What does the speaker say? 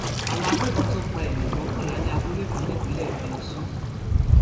àwọn àgbébọ tún pa èèyàn mọkànlá ní abúlé kan nípínlẹ plateau